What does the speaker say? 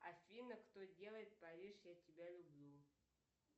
афина кто делает париж я тебя люблю